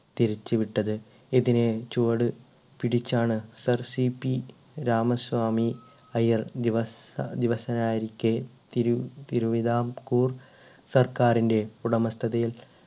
തിരിച്ചുവിട്ടത് ഇതിനെ ചുവട് പിടിച്ചാണ് sir സിപി രാമസ്വാമി അയ്യർ ദിവസ ആയിരിക്കെ തിരി തിരുവിതാംകൂർ സർക്കാറിൻ്റെ ഉടമസ്ഥതയിൽ